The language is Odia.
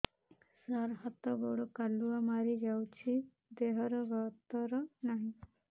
ସାର ହାତ ଗୋଡ଼ କାଲୁଆ ମାରି ଯାଉଛି ଦେହର ଗତର ନାହିଁ